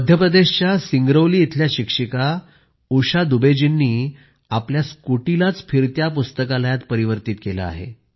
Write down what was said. मध्यप्रदेशच्या सिंगरौली इथल्या शिक्षिका उषा दुबे जींनी तर आपल्या स्कूटीलाच फिरत्या पुस्तकालयात परिवर्तित केलं आहे